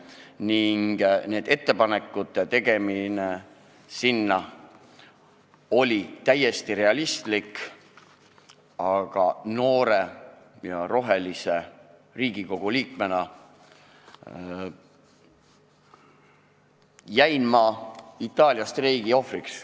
Nende ettepanekute tegemine sinna oli täiesti realistlik, aga noore ja rohelise Riigikogu liikmena jäin ma Itaalia streigi ohvriks.